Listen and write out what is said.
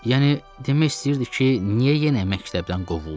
Yəni demək istəyirdi ki, niyə yenə məktəbdən qovuldun?